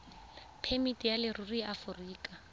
phemiti ya leruri ya aforika